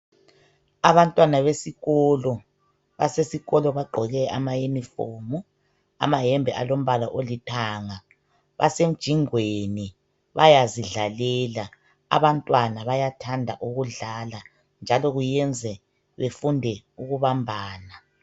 Abantwana besikolo ,basesikolo bagqoke ama uniform .Amahembe alombala olithanga ,basemjingweni bayazidlalela. Abantwana bayathanda ukudlala njalo kuyenze befunde ukubambana.